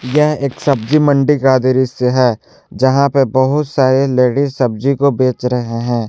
यह एक सब्जी मंडी का दृश्य है जहां पर बहुत सारे लेडिस सब्जी को बेच रहे हैं।